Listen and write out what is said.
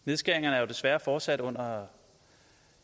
nedskæringerne er jo desværre fortsat under